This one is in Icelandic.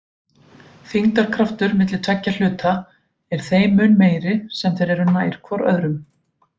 Þyngdarkraftur milli tveggja hluta er þeim mun meiri sem þeir eru nær hvor öðrum.